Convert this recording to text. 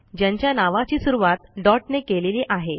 ज्यांच्या नावची सुरूवात डॉट ने केलेली आहे